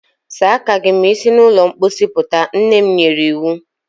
Saa aka gị ma i si na ụlọ mposi puta! Nne m nyere iwu.